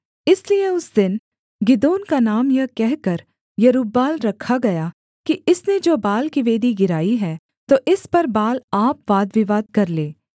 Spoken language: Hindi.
इसलिए उस दिन गिदोन का नाम यह कहकर यरूब्बाल रखा गया कि इसने जो बाल की वेदी गिराई है तो इस पर बाल आप वाद विवाद कर ले